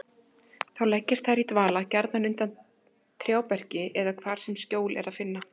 Þá leggjast þær í dvala, gjarnan undir trjáberki eða hvar sem skjól er að finna.